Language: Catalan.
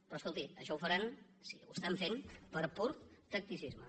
però escolti això ho faran ho estan fent per pur tacticisme